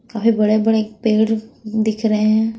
काफी बड़े-बड़े पेड़ दिख रहे हैं।